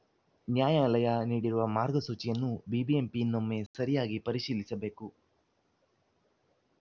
ನ್ಯಾಯಾಲಯ ನೀಡಿರುವ ಮಾರ್ಗಸೂಚಿಯನ್ನು ಬಿಬಿಎಂಪಿ ಇನ್ನೊಮ್ಮೆ ಸರಿಯಾಗಿ ಪರಿಶೀಲಿಸಬೇಕು